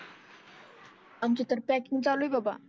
आमची तर पॅकिंग चालु आहे बाबा.